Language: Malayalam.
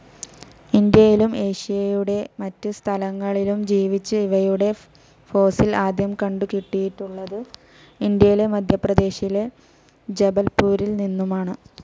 ഇന്ത്യയിലും ഏഷ്യയുടെ മറ്റ് സ്ഥലങ്ങളിലും ജീവിച്ച ഇവയുടെ ഫോസിൽ ആദ്യം കണ്ടു കിട്ടിയിട്ടുള്ളത് ഇന്ത്യയിലെ മധ്യപ്രദേശിലെ ജബൽപൂരിൽ നിന്നുമാണ്.